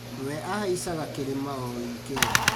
We ahaicaga kĩrĩma o wikendi